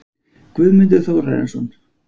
Guðmundur Þórarinsson